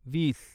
वीस